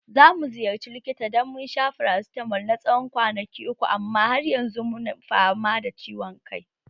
Za mu ziyarci likita dan mun sha farasitamol na tsawon kwanaki uku amma har yanzu muna fama da ciwon kai